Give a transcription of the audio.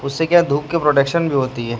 उससे क्या धूप के प्रोडक्शन भी होती है।